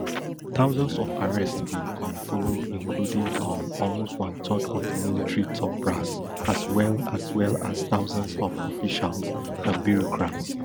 thousands of arrests bin um follow including um almost one third of di military top brass as well as well as thousands of officials and bureaucrats